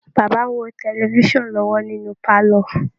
Baba ń wo tẹlifisàn lọ́wọ́ nínú pálọ́